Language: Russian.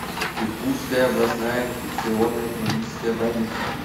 иркутская областная инфекционная клиническая больница